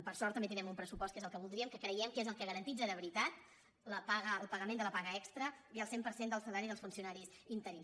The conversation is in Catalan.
per sort també tindrem un pressu·post que és el que voldríem que creiem que és el ga·ranteix de veritat el pagament de la paga extra i el cent per cent del salari dels funcionaris interins